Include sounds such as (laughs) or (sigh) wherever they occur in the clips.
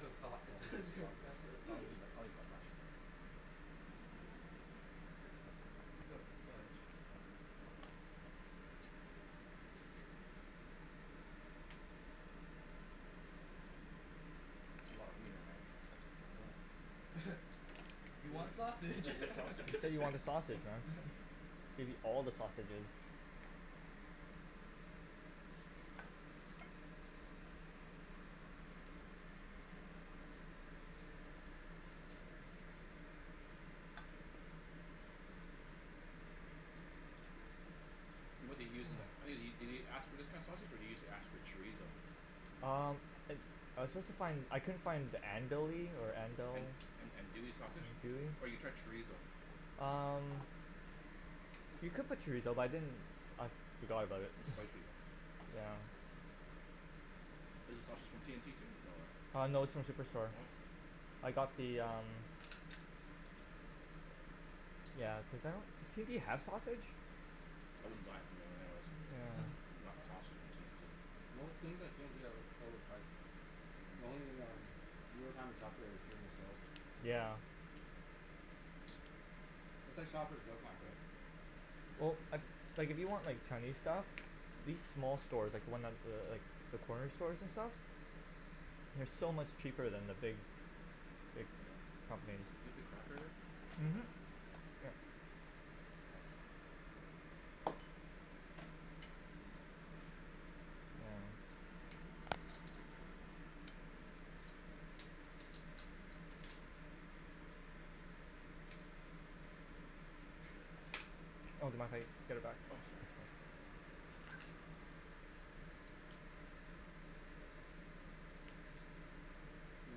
That's (laughs) a lot of That's sausages. (laughs) You are a lot of, I won't messy eat that, I won't eat (laughs) that much. I just put a bunch. That's a lot of wiener man. Yeah. (laughs) You want Yeah, you sausage (laughs) got You sausages. said you want the sausage, man. Give you all the sausages. What do you use in tha- (inaudible) did you ask for this kind of sausage or did you ask for chorizo? Um, I, I was supposed to find, I couldn't find, andouille or andel- An- , andouille sausage? andouille? Or you tried chorizo Um, you could put chorizo but I didn't, I forgot about it It's (laughs) spicy though. Yeah. Is the sausage from T&T too? No Uh no, it's from Superstore. Hm I got the um, yeah cuz I don't, does T&T have sausage? I wouldn't buy it from them anyways. (laughs) Yeah. Not sausage from T&T Most things at T&T are over overpriced. The only um the only time we shop there is during the sales. Yeah. It's like Shopper's Drug Mart right? Well, like, like, if you want like Chinese stuff, these small stores, like the ones th- like, the corner stores and stuff? They're so much cheaper than the big, big Yeah, companies. you have the cracker there? Mhm. (noise) Thanks. (inaudible) Oh that's my plate, I'll get it back. Oh sorry Did you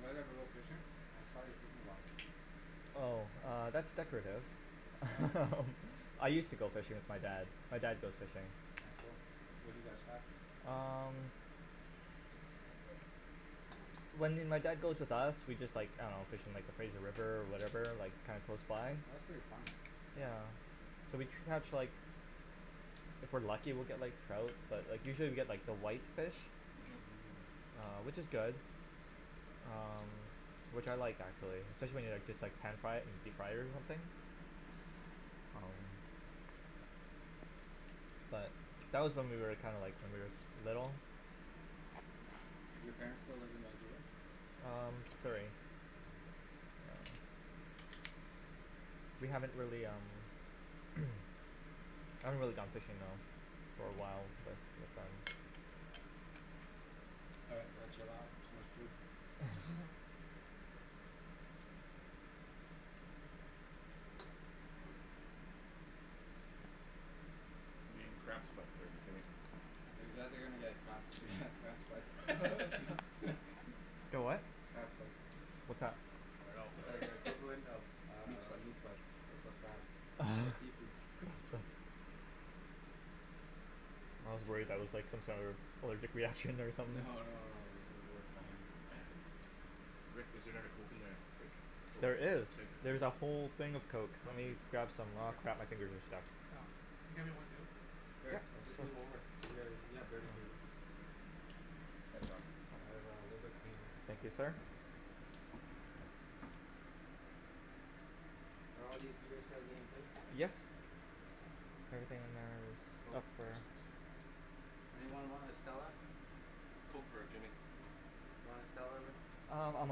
guys ever go fishing? I saw your fishing rod. Oh, uh, that's decorative Oh. (laughs) I used to go fishing with my dad, my dad goes fishing. Oh cool. What do you guys catch? Um, when m- my dad goes with us, we just like, I dunno, just fish in like the Fraser River, whatever, like kinda close Oh by? that's pretty fun. Yeah, so we catch like, if we're lucky we get like trout, but like usually we get like the white fish Mhm which is good. Um, which I like actually. Especially when you like just like pan fry it or deep fry it or something? But, that was when we were like kinda like when we were s- little. Do your parents still live in Vancouver? Um, Surrey. We haven't really um (noise) I haven't really gone fishing though, for a while, but it's fine. All right gonna chill out. Too much food. (laughs) I'm getting crab sweats here, Jimmy. You guys are gonna get crap (laughs) crab sweats (noise) (laughs) Get what? Crab sweats. What's that? I dunno It's like the (laughs) equivalent of Meat um sweats meat sweats but for crab. (laughs) For seafood. meat sweats. I was worried that was like some sort of allergic reaction or No something. no no worries, we're fine. (noise) Rick, is there another Coke in the fridge? There is, there's a whole thing of Coke, let me grab some, aw (inaudible) crap, my fingers are stuck. Oh, can you get me one too? Sure, I'll just move over, you a- you have dirty fingers. Thanks Al I have a little bit cleaner Thank you so sir. Are all these beers for our game too? Yes. Anything in there is Oh. up for Anyone want a Stella? Coke for Jimmy. You wanna Stella Rick? Um I'm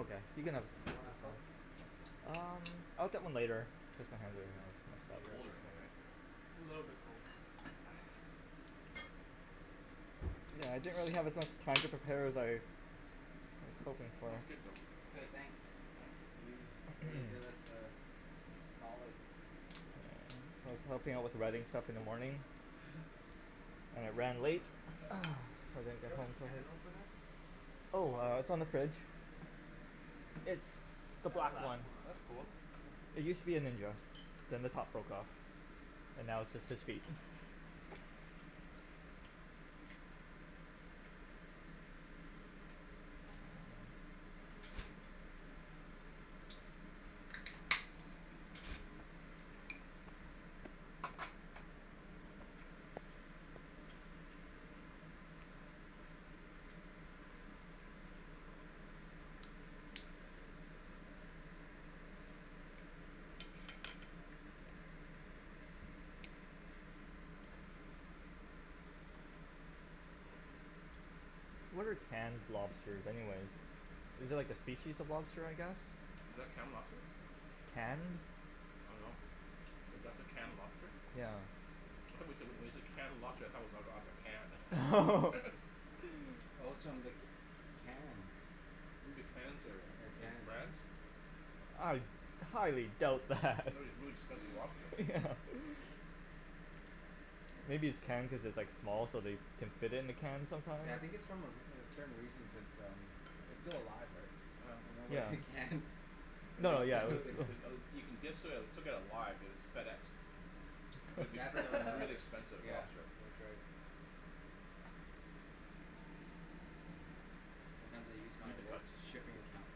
okay, you can have Want a Coke? Um I'll get one later. It's colder in there right? It's a little bit cold. Yeah I didn't really have a chance to prep- prepare better. Okay. Okay thanks. You really (noise) did us a solid. I was helping with the writing stuff in the morning. (noise) And it ran late. Is there a can opener? Oh it's on the fridge. It's the black one. That's cool. It used to be a ninja. Then the top broke off. And now it's just his feet. What are canned lobsters anyways? Is it like a species of lobster I guess? Is that canned lobster? Canned. I don't know. That's a canned lobster? Yeah. I though wen- when you said canned lobster I though it was out- Oh. Oh. outta (laughs) a (laughs) can. Oh it's from the Cannes. You mean the Cannes area, The in Cannes. France? I highly doubt that. That would be really expensive lobster. Yeah. (laughs) (noise) Maybe it's canned because it's like small so they can fit in a can sometimes. Yeah I think its from a re- a certain region cuz um its still alive, Oh. no Yeah. way it canned. No yeah it's uh (inaudible) (noise) You can ge- still get it live, you know, it's FedExed. Is And would be that's still uh, really (laughs) expensive yeah, lobster. that's right. Sometimes I use my work's shipping account.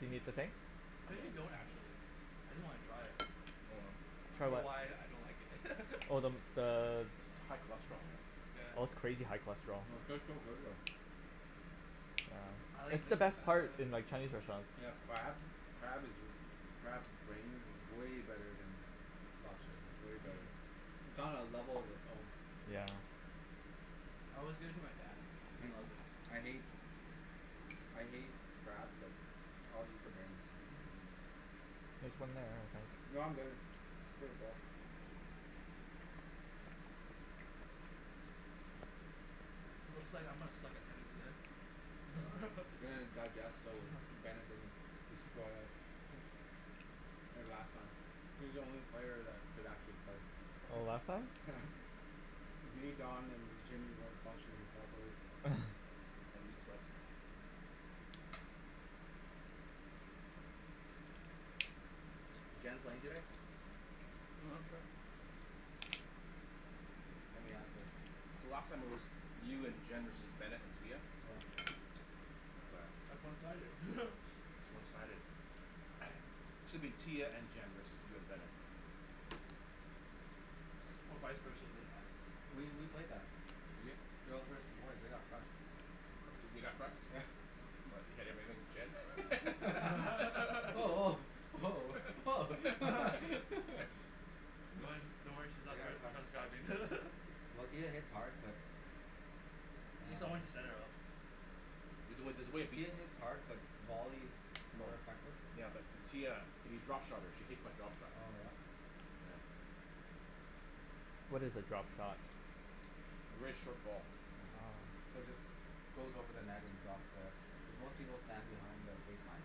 Do you need the thing? Cuz you don't actually I just wanna try it. Hold on. I For don't know what? why I don't like it. Oh the (laughs) the High cholesterol. Oh it's crazy high cholesterol. It's the best (inaudible) part in like Chinese restaurants. They have crab, crab is crab's brains is way better then lobster, way better. (noise) It's on a level of its own. Yeah. I always give it to my dad he loves it. I hate I hate crab but I'll eat the brains. No I'm good, pretty full. Looks like I'm gonna suck at tennis there. (laughs) (inaudible) digest so Bennet doesn't destroy us like last time he's the only player that could actually play. Oh last time? Yeah. Me, Don and Jimmy weren't functioning properly. (laughs) Is Jen playing today? Lemme ask her. So last time it was you and Jen versus Bennet and Tia? Yeah. That's one sided. (laughs) It's one sided. (noise) Shoulda been Tia and Jen versus you and Bennett. Or vise versa doesn't matter. We we play better. You did? Girls versus boys they got crushed. They they got crushed? What your (inaudible) Jen. (laughs) woah Oh (laughs) Oh woah, woah oh (laughs) (laughs) Don't worry don't worry she's Oh not yeah ca- (inaudible) Well Tia hits hard but Oh She's need someone to Ah set it up. There's there's a way. Tia hits hard but volleys more More. effective. Yeah but Tia you drop shot her she hates my drop shots. Oh yeah. What is a drop shot? Really short ball. Yeah. So it just goes over the net and drops there. Most people stand behind the baseline.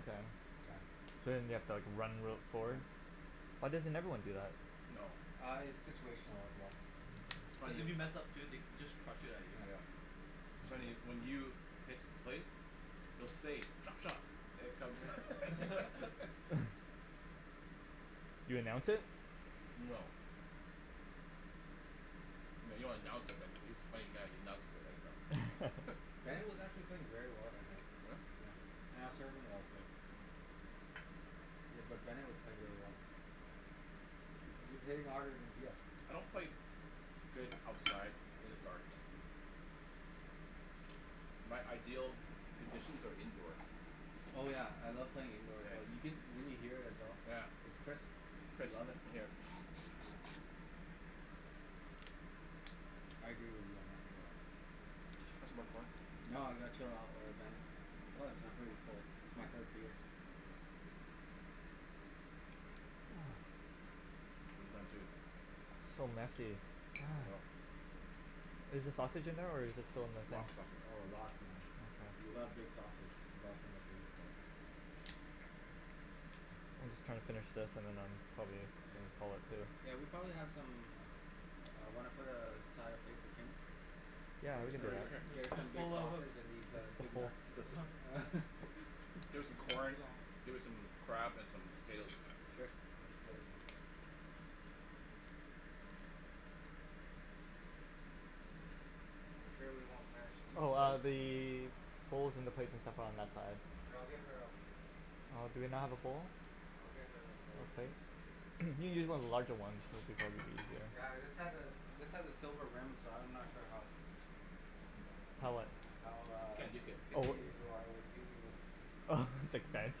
Okay. Yeah. So then you have to like run real forward? Yeah. Why doesn't everyone do that? No. Ah it's situational as well. It's Cuz funny. if you mess up too they just crushed it outta Yeah. your Yeah. air. So anyway when you hits place you'll say "drop shot". (noise) You announce it? No. No you don't announce it but he's a funny guy he announces it right. (laughs) Bennet was actually playing very well that night, Oh yeah. yeah, and I was serving well so. Hmm Bu- but Bennet was playing really well. He he was hitting harder then Tia. I don't play good outside in the dark. My ideal conditions are indoors. Oh yeah I love playing indoors well you can you can hear it as well. Yeah, yeah. I Chris love it. yup. Yeah. I agree with you on that. No. Ca- have some more corn? No (inaudible) or ah Bennet. Plus I'm pretty cold my third year. (noise) (noise) I'm done too. So messy. I know. Is the sausage in there or is it in the thing? Lots of sausage. Oh lots man. You love big sausage, lots in there. Oh. I'm just gonna finish this and then I'm probably Yeah. gonna call it. (inaudible) Yeah we probably have some. Ah wanna put a a side of plate for Kim? Yeah Get her we could some do b- that. (laughs) get her some big Ho- ho- sausage and hold. these uh The big whole nuts. There's This one. som- (laughs) There's some corn, there some crab and some potatoes. I'm sure we won't finish. Oh ah (inaudible) the bowls and the plates and stuff are on that side. We'll get her a Oh do we not have a bowl? Oh okay. (noise) you can use one of the larger ones it'll be probably easier. Yeah this has a this has a silver rim so I'm not sure how. How what? (noise) How You ah can't nuke it. Oh picky wha- you are with using this. Hmm Oh like (inaudible)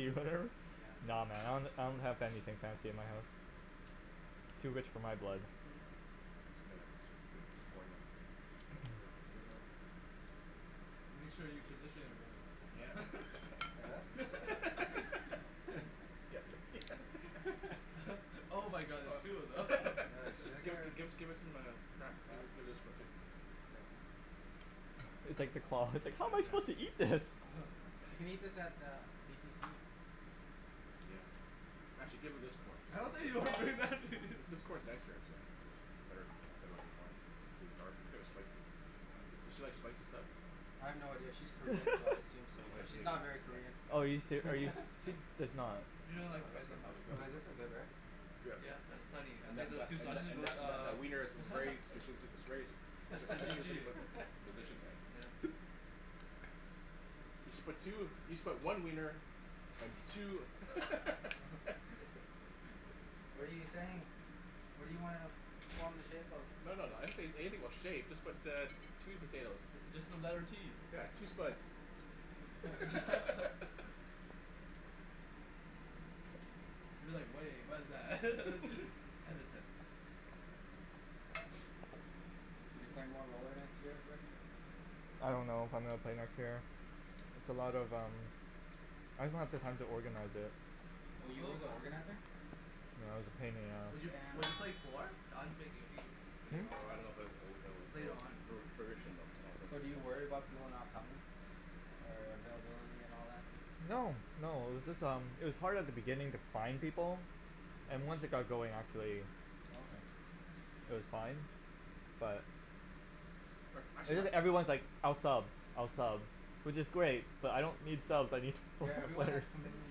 or whatever? Nah man I don- don't that have anything fancy in my house. Too rich for my blood. What's the matter a piece a piece of corn there. Make sure you position it right. (inaudible) us. (laughs) (laughs) (laughs) Yeah can just can I Give get her her. give her some um crab Yeah. give this one too. Okay. It's like the claw, it's I like "how am I suppose to can't. eat this"? She can eat this at the BTC. Yeah. Actually give her this corn. I don't (inaudible) think (inaudible) (laughs) This corn's nicer actually or good looking corn pretty dark here's spicy. Does she like spicy stuff? I have no idea, she's Korean so I (laughs) assume so Oh yeah but she's not very Korean. Oh are you she's (inaudible) seri- are you ser- (laughs) it's not. You don't like spice that much. Well like (inaudible) this is good right? Yup, that's plenty And and then that those that two that sausages and that that uh that wiener is very (inaudible) (laughs) is very strategically (laughs) (laughs) positioned. Yeah. You should but two you should put one wiener and two. What are you saying? What do you wanna form the shape of? No no no I didn't say anything about shape just put uh two potatoes. Just the letter T. Yeah two spuds. (laughs) You're like way what's that (laughs) hesitant. Are you playing more roller next year Rick? I don't know if I'm gonna play next year. It's a lot of um. I just don't have the time to organize it. Oh you were the organizer? No it was a pain in the Would ass. you would you play four Don's making a team. Hum? Oh I love o o o Later on. o o furnishing them. So do you worry about (inaudible) people not coming? Or uh availability and all that? No, no, it was just um it was hard at the beginning to find people and once Hmm it got going actually Oh okay. it was fine. But But It actually jus- everyone's like I'll sub I'll sub which is great but I don't need subs I need pa- Yeah everyone players. has commitment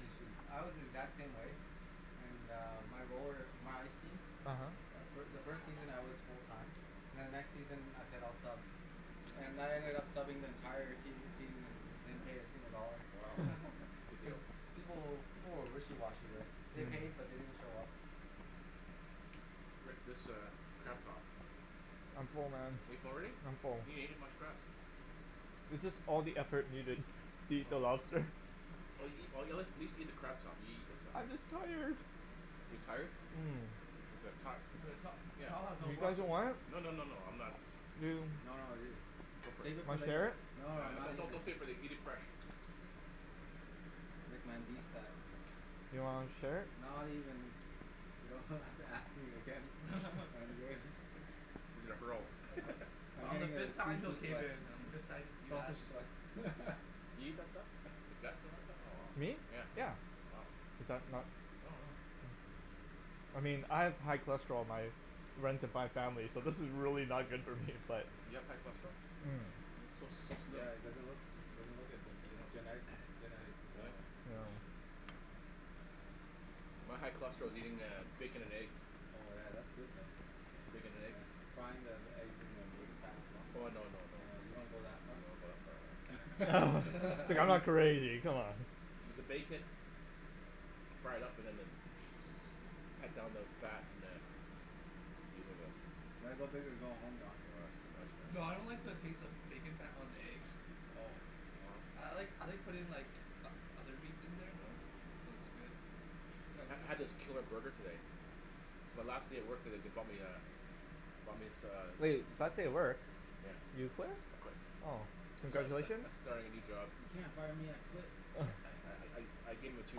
issues, I was the exact same way. And uh my roller my ice team. uh-huh The fi- the first season I was full time. Then the next season I said I'll sub. And I ended up subbing the entire season. (inaudible) Yeah, wow, (noise) (laughs) good deal. People will people were wishy washy right. They paid uh-huh but they didn't show up. Rick this uh crab top. I'm full man, Are you full already? I'm full. You didn't each much crab. This is all the effort we did to eat the Oh. lobster. Or eat a at least eat the crab top you eat this stuff? I'm just tired. You're tired? um (inaudible) The Yeah. top has no (inaudible) You no no guys don't want it? No no no no no I'm I'm not. not. You No no ju- Go for it. Save it for Wanna share later. it? No No no not no even. don't save it eat it fresh. Rick man beast that. Do you wanna share it? Not even. You don't ha- (laughs) have to ask me again (laughs) I'm good. He's gonna hurl. I'm getting uh (inaudible) seafood sweats. complicated. Sausage sweats. (laughs) Me? Yeah. Is that not I mean I have high cholesterol, my runs in my family so this is really not good for me but You have high cholesterol? Hmm You so so slim. Yeah it doesn't look doesn't look it but i- its uh-huh. genetic. Oh. No. My high cholesterol is eating uh bacon and eggs. Bacon and eggs. Frying the eggs in the bacon fat as well? Oh no no no. You don't go that No I far? don't (laughs) go Dude that far man. I'm (laughs) not (inaudible) anything come on. You gotta go big or go home Don. Nah that's too much man. No I don't like the taste of bacon fat on the eggs. I like I like putting in like o- other meats in there though. I ha- had this killer burger today. It's my last day at work today they bumped me uh they bumped as- uh Hey, last day at work. Yeah. You quit? I quit. Oh. I sta- sta- Congratulations. I starting a new job. Uh No (noise) I I I gave em a two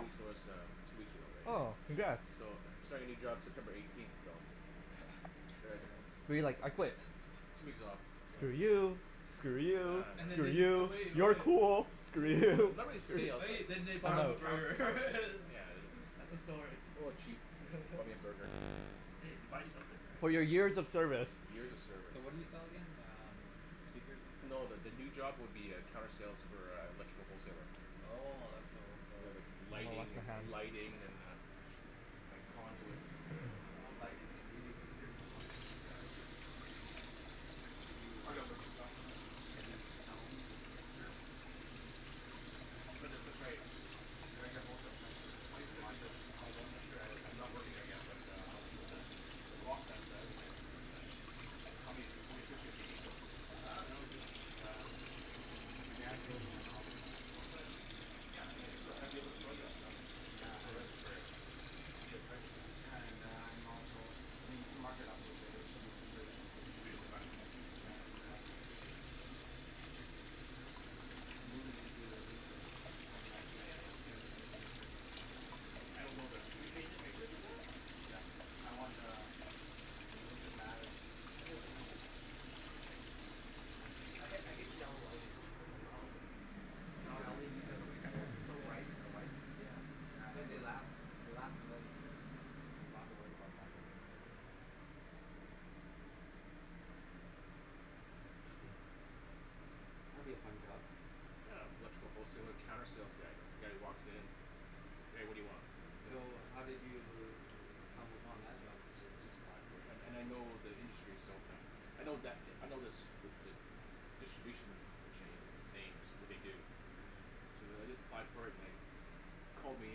weeks notice that I'm two weeks ago Oh right. congrats. So I'm starting a new job September eighteenth but like So We're you're you like like I "I quit. quit"? two weeks off. So Screw yay. you. For Screw you, real, And then for screw they Yeah (inaudible) you, you. so cool. (inaudible) Screw Screw you. you. (laughs) (laughs) (laughs) (inaudible) and (inaudible) then they bought him Oh. a burger (laughs) Yeah. That's the story. A little chap bought me a (laughs) burger. Hey they bought you something ri- For For your your years years of of service. service. Years of So what service. do you sell again? um speakers and No the the new stuff. job would be uh counter sale for uh electrical wholesaling. Oh electrical whole Yeah like seller. lighting an- lighting and uh Like conduit and stuff like that so. Oh lighting do yo- do you do fixtures as well? Yeah they'll do fixture and that. Could you? I gotta learn the stuff though right? Could you sell me fixtures? Sure. But it's just like. Do I get wholesale prices or I gotta do you check it markup? yet. Oh I I'm not sure I I'm not working there yet but uh I'll see what the prospects says but uh How many how many fixtures do you need though? I don't know just um my dad's building a house that's Oh it. yeah yeah okay. Yeah I'd get I'd be able to Um sell you that stuff. Yeah I For a would. for a deal pricing right so. Yeah and uh I'm also I mean you can mark it up a little bit it will still be cheaper then still be cheaper than buy at HomeDepot right and uh moving into a new place twenty ninth of Yeah yeah April I'm yeah, gonna yeah change the fixtures. easier. I I don't that Can yo- your fixtures do that? Yeah I want uh a little bit lavish. (laughs) I ha- I hate the yellow lighting. Yeah. No LEDs are the way to go they're so Yeah. light and they're white. Yeah. Yeah and they last. They last a million years Yeah. so you don't have to worry about them. (noise) That'll be a fun job. Yeah electrical wholesaler counter sales guy the guys who walks in hey what do you want? (inaudible) So how did you stumble upon that job? I just just applied for it and and I know the industry so (noise) I know that I know this the the distribution chain names what they do so then I just applied for it and they called me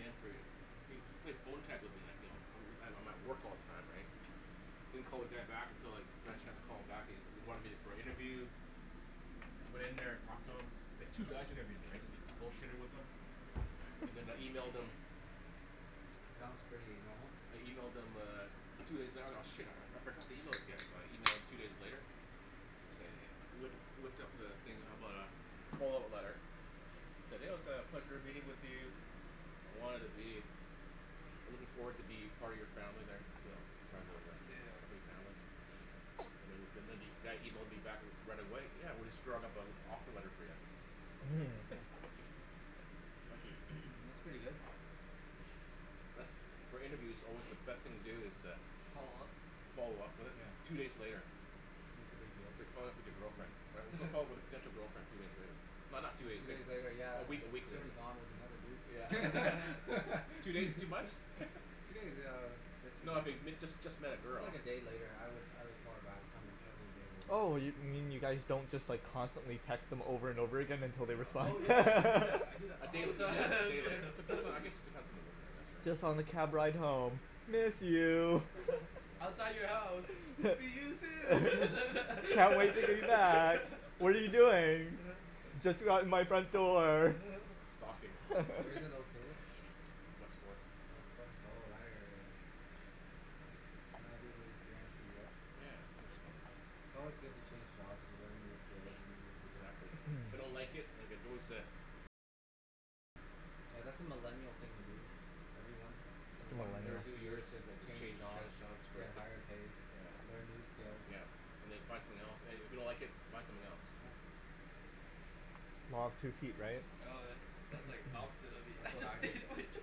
in for an they they played phone tag with me like you know I I'm at work all the time right I don't call the guy back until like I got a chance to call him back he he wanted me for an interview went in there talked to him there's two guys that interviewed me right just bull shitted with them and (laughs) then I emailed them. Sounds pretty normal. I emailed them uh two days out oh shit I I forgot to email those guys so I emailed two days later to say hey loo- looked up the thing about uh follow-up letter said oh said "it was a pleasure meeting with you" I wanted to be I'm looking forward to be part of your family there part of the Yeah. company family. (noise) And the- then the guy emailed me back right away "yeah we're just drawing up an offer letter for you". Hmm That's pretty good. For interview it's alway the best thing to do is to follow-up with it Yeah two days later. that's a big deal. It's like following up with your girlfriend right follo- followup with a potential girlfriend two days later not not two days Two days later later year a uh uh week a week she'll later. be gone with another dude. Yeah. (laughs) (laughs) Two days too much? (laughs) No I fig- if you (inaudible) just just met a Just girl. like a day later I would I would call her back if I'm interested a day later. Oh yo- you mean you guys don't just like constantly text them over and over again until they respond? No Oh yeah I do no. that I (laughs) do that A day all the a day later time. depends I (laughs) guess it depends on the woman I guess right. Just on the cab ride home, "Miss you". (laughs) I don't know "Outside man. your house see (laughs) you soon". (laughs) "Can't wait to hear you back. What are you doing"? "Just around out my front door." Stalking. Where's it located? It's west fourth. West fourth oh that area eh? (noise) That'll be anew experience for you eh? Yeah hear it's nice. It's alway good to change jobs you learn new skills and meet new people. Exactly. If I don't like it I can always uh Yeah that's a millennial thing to do ever once Too one or Every millennial. two two years year just just change change change jobs. jobs you for, get higher pay yeah, learn new skills. yeah And then you find something else and and if you don't like it find something else. Yeah. Ah too cute right? Oh that- that's like opposite of That's what the I did. of what I do.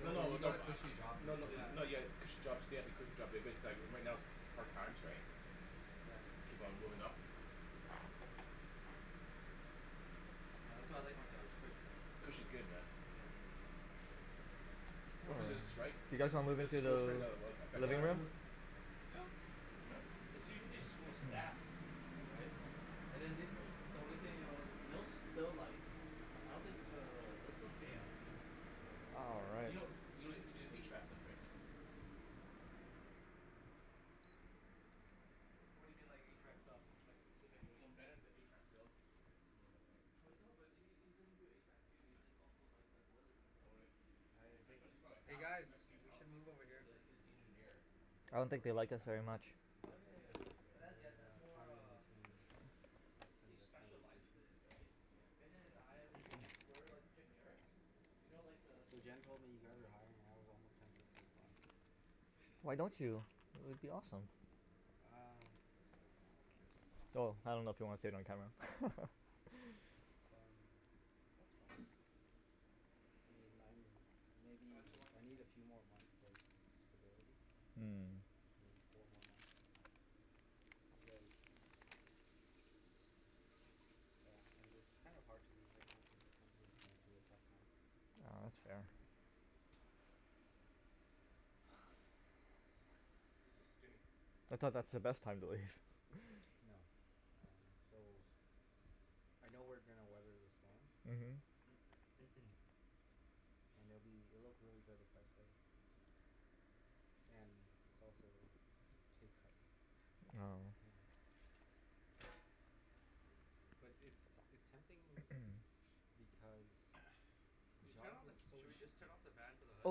No but you no. got a cushy job. No no, no you have Yeah. a cushy job stay at the cushy job but but that right right now it's hard times right. Keep on moving up. Yeah that's why I like my job its cushy. Cushy's good man. What was the Um strike you guys want to the school the strike that that um effected Yeah you living let's right? room? move. Yup. Hmm? It's usually school staff. Hmm Right and then they the only thing else they- they'll like I don't think uh they'll still pay us. Hmm All Do right. you kno- you can do HVAC stuff right? What do you mean like HVAC stuff? Like Yo- specifically. you know Bennett's an HVAC sales person right? You know that right? But no but he he he doesn't do HVAC too he does also like the boilers and Oh stuff. really? I don't My Yeah. think, frie- friend hey Alex, guys Mexican we should Alex, move in here. is Yeah. is the engineer. Yeah. I don't For think they like us HVAC very stuff. much. He Oh does and he yeah does No yeah estimate. but that's yeah they're that's uh more caught uh between us he and their specializes conversation. in it right? Bennet and I we- (noise) we're like generic you know like the So Gimme gimme Jen simplify. told me you guys are the (inaudible) hiring and I was almost tempted to apply. Why don't you? It would be awesome. uh That's a four rinse this off. Though, I don't know if you want to say it on camera. It's um that's fine I mean I'm I didn't maybe wash I my need a hands. few more months of stability Hmm like maybe four more months you guys yeah and it's kinda hard to leave right now cause the company's going through a tough time Ah that's fair. Yeah Jimmy ca- can I I have some thought more that's the napkins best time to leave. (laughs) No. Um so (inaudible) I know we're gonna weather the storm. uh-huh (noise) And it'll be it'll look really good if I stay and its also pay cut. (laughs) Oh. Yeah but it's it's tempting (noise) because (noise) (noise) the Did you turn job of- is so should we just (noise) interesting. turn off the fan for the hood?